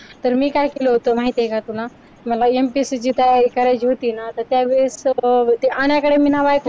तर मी काय केलं होतं माहिती आहे का तुला मला MPSC ची तयारी करायची होती ना तर त्या वेळेस सर्व